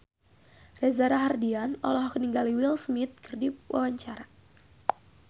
Reza Rahardian olohok ningali Will Smith keur diwawancara